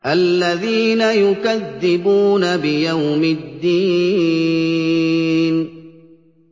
الَّذِينَ يُكَذِّبُونَ بِيَوْمِ الدِّينِ